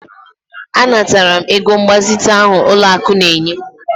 Anatara m ego mgbazite ahụ ụlọakụ na-enye